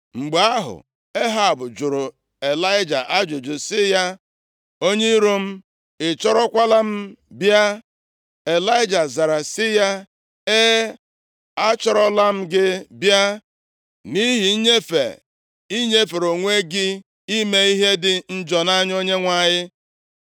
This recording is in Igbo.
Mgbe ahụ, Ehab jụrụ Ịlaịja ajụjụ sị ya, “Onye iro m, ị chọrọkwala m bịa?” Ịlaịja zara sị ya, “E, achọrọla m gị bịa nʼihi nnyefe i nyefere onwe gị ime ihe dị njọ nʼanya Onyenwe anyị.